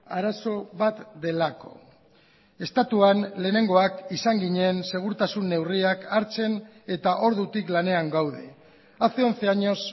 arazo bat delako estatuan lehenengoak izan ginen segurtasun neurriak hartzen eta ordutik lanean gaude hace once años